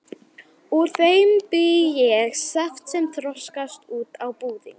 Úr þeim bý ég saft sem þroskast út á búðing.